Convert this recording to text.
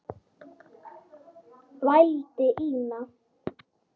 vældi Ína.